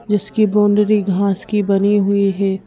जिसकी बाउंडरी घास की बनी हुई है।